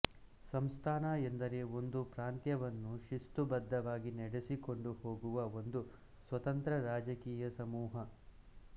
ಸಂಸ್ಥಾನ ಎಂದರೆ ಒಂದು ಪ್ರಾಂತ್ಯವನ್ನು ಶಿಸ್ತುಬದ್ಧವಾಗಿ ನಡೆಸಿಕೊಂಡು ಹೋಗುವ ಒಂದು ಸ್ವತಂತ್ರ ರಾಜಕೀಯ ಸಮೂಹ